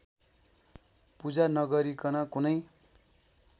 पूजा नगरीकन कुनै